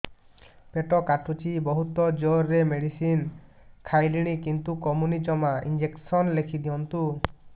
ପେଟ କାଟୁଛି ବହୁତ ଜୋରରେ ମେଡିସିନ ଖାଇଲିଣି କିନ୍ତୁ କମୁନି ଜମା ଇଂଜେକସନ ଲେଖିଦିଅନ୍ତୁ